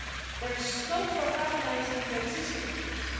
There is scope for harmonising the existing rules.